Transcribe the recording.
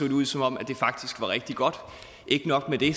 ud som om det faktisk var rigtig godt og ikke nok med det